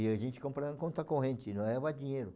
E a gente comprava em conta corrente, não levava dinheiro.